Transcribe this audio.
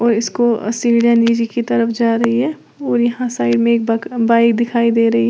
और इसको सीढ़ियां नीचे की तरफ जा रही है और यहां साइड में एक बाक बाइक दिखाई दे रही है।